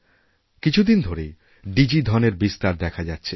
কিছুদিন ধরেই ডিজি ধনএর বিস্তার দেখাযাচ্ছে